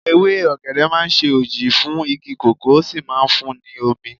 Ewé ọ̀gẹ̀dẹ̀ máa ń ṣe òji fún igi kòkó, ó sì máa ń fun ní omi.